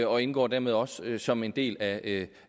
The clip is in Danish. og indgår dermed også som en del af